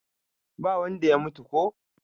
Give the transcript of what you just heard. ba wanda ya mutu ko?